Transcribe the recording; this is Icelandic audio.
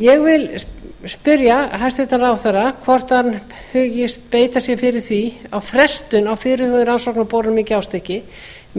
ég vil spyrja hæstvirtan ráðherra hvort hann hyggist beita sér fyrir því að frestun á fyrirhugaðri rannsóknaborun í gjástykki